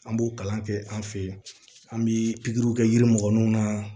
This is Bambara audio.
An b'o kalan kɛ an fɛ yen an bɛ pikiriw kɛ yiri mɔgɔninw na